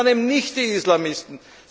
Und das waren eben nicht die Islamisten!